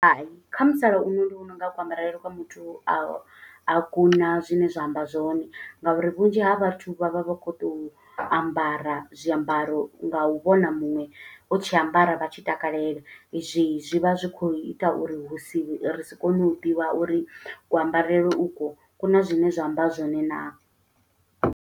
Hai, kha musalauno ndi vhona unga kuambarele kwa muthu a a kuna zwine zwa amba zwone. Nga uri vhunzhi ha vhathu vha vha vha khou tou ambara zwiambaro, nga u vhona muṅwe o tshi ambara, vha tshi takalela. Hezwi zwi vha zwi khou ita uri hu si, ri si kone u ḓivha uri kuambarele u kwo, ku na zwine zwa amba zwone.